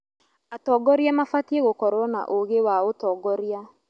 Atongoria mabatiĩ gũkorwo na ũũgĩ wa ũtongoria.